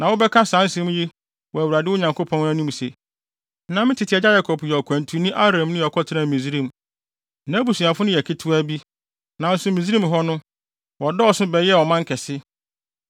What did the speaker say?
Na wobɛka saa nsɛm yi wɔ Awurade, mo Nyankopɔn no, anim sɛ, “Na me tete agya Yakob yɛ ɔkwantuni Aramni a ɔkɔtenaa Misraim. Nʼabusua no yɛ ketewaa bi, nanso Misraim hɔ no, wɔdɔɔso bebree bɛyɛɛ ɔman kɛse.